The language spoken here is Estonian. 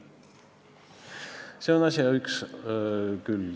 See on asja üks külg.